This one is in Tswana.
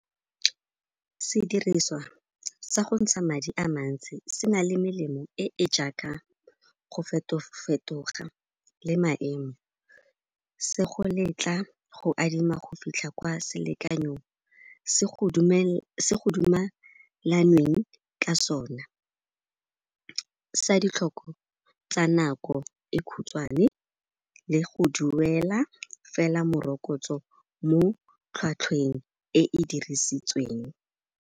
Sediriswa sa gontsha madi a mantsi se na le melemo e e jaaka go feto-fetoga le maemo. Se go letla go adima go fitlha kwa selekanyo, se go dumalaneng ka sona, sa ditlhoko tsa nako e khutswane le go duela fela morokotso mo tlhwatlhweng e e dirisitsweng.